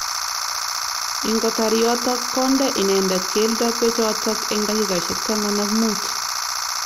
Ingotar yotok konde inendet keldo bechotok eng dakikaishek taman ak mut.